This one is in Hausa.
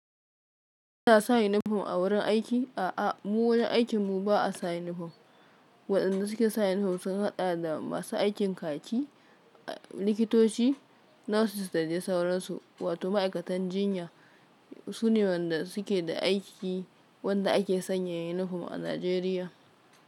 Na sa yunifom a wurin aiki? A'a, mu wurin aikin mu ba a sa yunifom. Waɗanda suke saya yunifom sun haɗa da masu aikin kaki, likitoci, nurses da dai sauransu. Wato ma'aikatan jinya sune wanɗa suke da aiki wanda ake sanya yunifom a Najeriya.